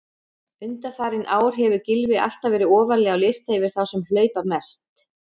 Undanfarin ár hefur Gylfi alltaf verið ofarlega á lista yfir þá sem hlaupa mest.